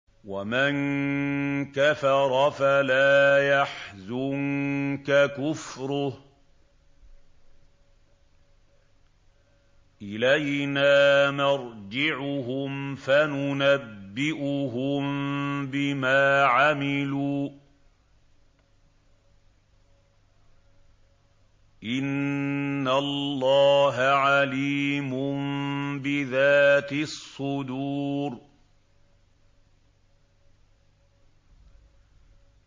وَمَن كَفَرَ فَلَا يَحْزُنكَ كُفْرُهُ ۚ إِلَيْنَا مَرْجِعُهُمْ فَنُنَبِّئُهُم بِمَا عَمِلُوا ۚ إِنَّ اللَّهَ عَلِيمٌ بِذَاتِ الصُّدُورِ